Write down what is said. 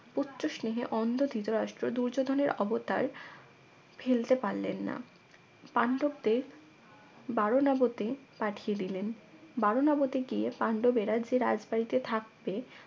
পুত্র স্নেহে অন্ধ ধৃতরাষ্ট্র দুর্যোধনের অবতার ফেলতে পারলেন না পান্ডবদের বারণাবতে পাঠিয়ে দিলেন বারনাবতে গিয়ে পান্ডবেরা যে রাজবাড়ীতে থাকবে